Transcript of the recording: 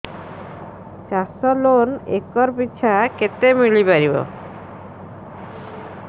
ଚାଷ loan acre ପିଛା କେତେ ମିଳି ପାରିବ